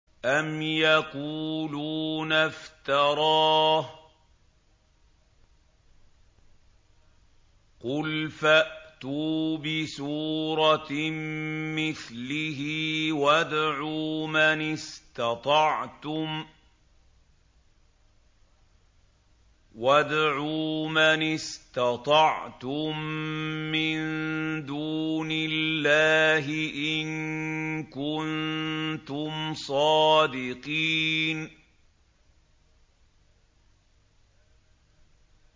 أَمْ يَقُولُونَ افْتَرَاهُ ۖ قُلْ فَأْتُوا بِسُورَةٍ مِّثْلِهِ وَادْعُوا مَنِ اسْتَطَعْتُم مِّن دُونِ اللَّهِ إِن كُنتُمْ صَادِقِينَ